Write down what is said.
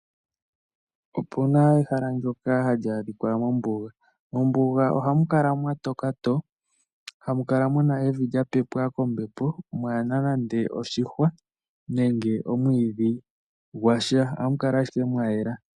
Opuna ehala ndoka hali adhika mombuga, mombuga ohamu kala mwatoka to hamu kala muna evi lyapepwa kombepo mwaana nande oshihwa, nenge omwiidhi gwasha ohamu kala ashike mwayela.